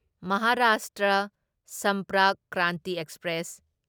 Maharashtra Sampark Kranti express